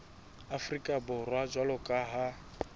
afrika borwa jwalo ka ha